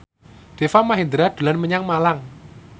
Deva Mahendra dolan menyang Malang